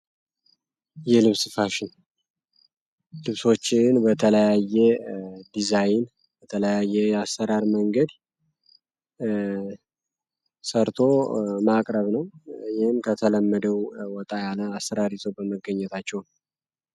ይህ ልብስ ፋሽን ልብሶችን በተለያየ ዲዛይን በተለያየ የአስራር መንገድ ሰርቶ ማቅረብ ነው ይህም ከተለመደው ወጣ ያለ አስራሪይዞ በመገኘታቸውን